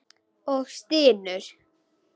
Og stynur.